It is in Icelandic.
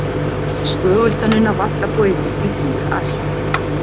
Skögultönnina vantar þó yfirleitt í kýr Asíufílsins.